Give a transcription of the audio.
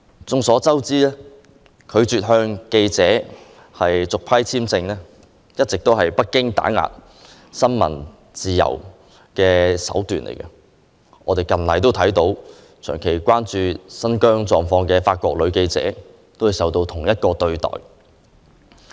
眾所周知，拒絕向記者續批簽證，一直是北京打壓新聞自由的手段，一名長期關注新疆狀況的法國女記者近期亦遭受同一對待。